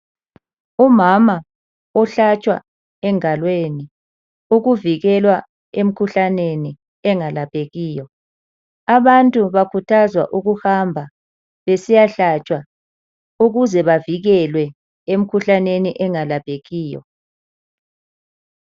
Umama ohlatshwa engalweni ukuvikelwa emikhuhlaneni engalaphekiyo. Abantu bakuthazwa ukuhamba besiya besiya hlatshwa ukuze bavikelwe emikhuhlaneni engalaphekiyo.